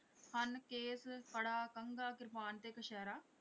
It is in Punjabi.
ਹਨ ਕੇਸ ਕੜਾ ਕੰਘਾ ਕ੍ਰਿਪਾਨ ਤੇ ਕਛਹਿਰਾ।